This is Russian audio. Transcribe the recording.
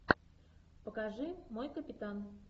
покажи мой капитан